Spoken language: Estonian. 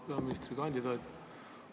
Auväärt peaministrikandidaat!